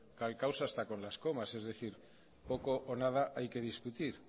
calcados hasta con las comas es decir poco o nada hay que discutir